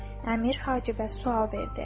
Əmir Hacibə sual verdi.